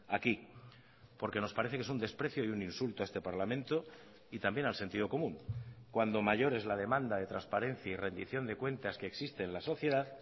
aquí porque nos parece que es un desprecio y un insulto a este parlamento y también al sentido común cuando mayor es la demanda de transparencia y rendición de cuentas que existe en la sociedad